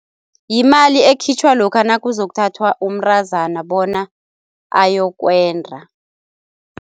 Yimali ekhitjhwa lokha nakuzokuthathwa umntazana bona ayokwenda.